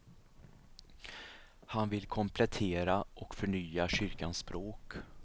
Han vill komplettera och förnya kyrkans språk.